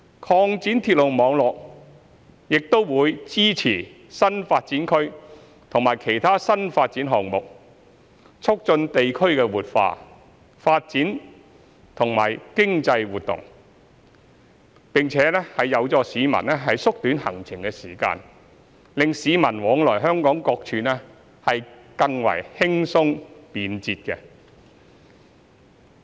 擴展鐵路網絡亦將會支持新發展區及其他新發展項目，促進地區的活化、發展和經濟活動，並且有助市民縮短行程時間，令市民往來香港各處更為輕鬆、便捷。